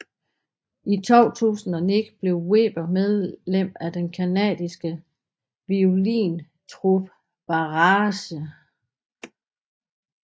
I 2009 blev Weber medlem af den canadiske violintrup Barrage